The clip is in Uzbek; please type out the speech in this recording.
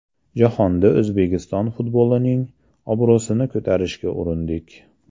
Jahonda O‘zbekiston futbolining obro‘sini ko‘tarishga urindik.